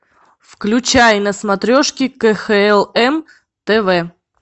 включай на смотрешке кхл м тв